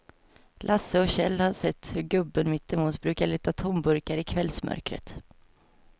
Lasse och Kjell har sett hur gubben mittemot brukar leta tomburkar i kvällsmörkret.